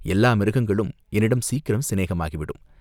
எல்லா மிருகங்களும் என்னிடம் சீக்கிரம் சிநேகமாகிவிடும்.